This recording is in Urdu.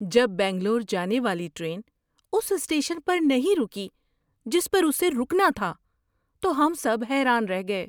جب بنگلور جانے والی ٹرین اس اسٹیشن پر نہیں رکی جس پر اسے رکنا تھا تو ہم سب حیران رہ گئے۔